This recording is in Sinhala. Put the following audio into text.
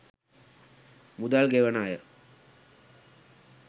මුදල් ගෙවන අය